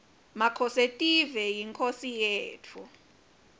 makhosetive yinkhosi yetfu